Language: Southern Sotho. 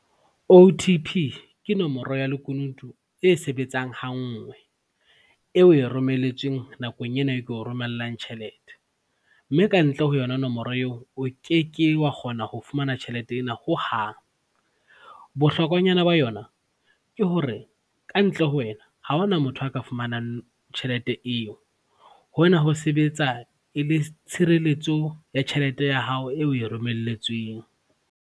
O_T_P ke nomoro ya lekunutu e sebetsang ha nngwe eo o e romelletsweng nakong ena e ko romellang tjhelete mme ka ntle ho yona nomoro eo o keke wa kgona ho fumana tjhelete ena hohang. Bohlokwanyana ba yona ke hore ka ntle ho wena ha hona motho a ka fumanang tjhelete eo. Hona ho sebetsa e le tshirelletso ya tjhelete ya hao eo o e romelletsweng.